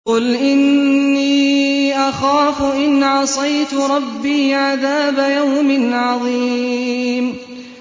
قُلْ إِنِّي أَخَافُ إِنْ عَصَيْتُ رَبِّي عَذَابَ يَوْمٍ عَظِيمٍ